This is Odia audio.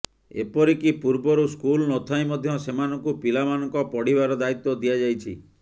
ଏପରିକି ପୂର୍ବରୁ ସ୍କୁଲ୍ ନଥାଇ ମଧ୍ୟ ସେମାନଙ୍କୁ ପିଲାମାନଙ୍କ ପଢିବାର ଦାୟିତ୍ୱ ଦିଆଯାଇଛି